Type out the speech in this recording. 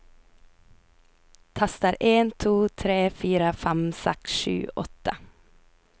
Tester en to tre fire fem seks sju åtte